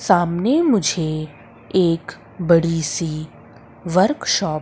सामने मुझे एक बड़ी सी वर्कशॉप --